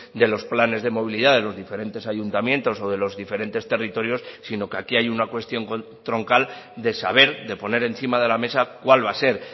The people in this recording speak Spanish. de los planes de movilidad de los diferentes ayuntamientos o de los diferentes territorios sino que aquí hay una cuestión troncal de saber de poner encima de la mesa cuál va a ser